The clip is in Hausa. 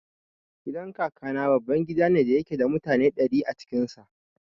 Gidan Kakana babban gida ne da yake da mutane ɗari a cikin sa.